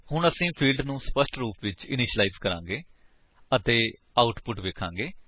ਹੁਣ ਅਸੀ ਫਿਲਡਸ ਨੂੰ ਸਪੱਸ਼ਟ ਰੂਪ ਵਿਚ ਇਨੀਸ਼ਿਲਾਇਜ ਕਰਾਂਗੇ ਅਤੇ ਆਉਟਪੁਟ ਵੇਖਾਂਗੇ